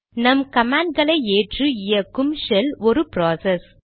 நம் கமாண்ட்களை ஏற்று இயக்கும் ஷெல் ஒரு ப்ராசஸ்